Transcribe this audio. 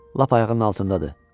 Lap ayağının altındadır.